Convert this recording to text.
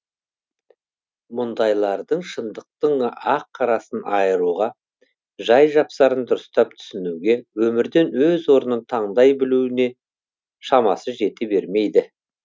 мұндайлардың шындықтың ақ қарасын айыруға жай жапсарын дұрыстап түсінуге өмірден өз орнын тандай білуіне шамасы жете бермейді